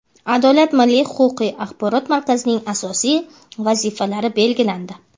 "Adolat" milliy huquqiy axborot markazining asosiy vazifalari belgilandi.